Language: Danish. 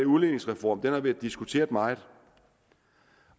udligningsreform den har været diskuteret meget